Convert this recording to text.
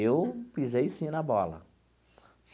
Eu pisei sim na bola.